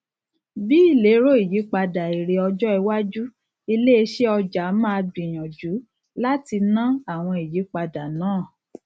bí ìlérò ìyípadà èrè ọjọ iwájú iléisẹ ọja ma gbinyànjú láti ná àwọn ìyípadà náà